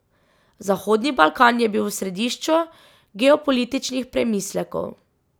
Zahodni Balkan je bil v središču geopolitičnih premislekov.